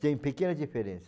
Tem pequena diferença.